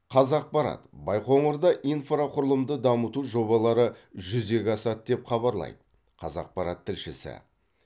қазақпарат байқоңырда инфрақұрылымды дамыту жобалары жүзеге асады деп хабарлайды қазақпарат тілшісі